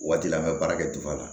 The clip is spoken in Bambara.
O waati la an bɛ baara kɛ la